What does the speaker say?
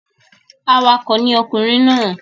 Awakọ̀ ni ọkùnrin náà.